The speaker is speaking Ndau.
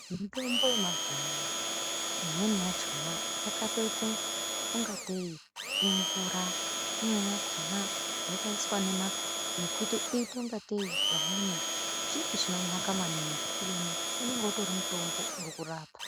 Mutombo yemazuwa anaya imweni yachona yakatoite ungatei imvura, imweni yakhona yakaiswa nema nekuite ungatei pamweni chiro chinonaka maningi, unonga utori mutombo uri kurapa.